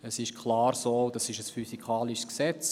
Es ist klar, das ist ein physikalisches Gesetz: